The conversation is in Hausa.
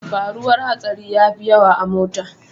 Faruwar hatsari yafi yawa a mota.